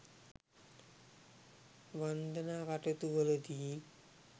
වන්දනා කටයුතු වලදී